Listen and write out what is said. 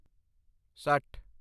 ਸੱਠ